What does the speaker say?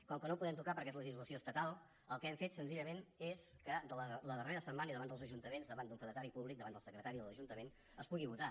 com que no el podem tocar perquè és legislació estatal el que hem fet senzillament és que la darrera setmana i davant dels ajuntaments davant d’un fedatari públic davant del secretari de l’ajuntament es pugui votar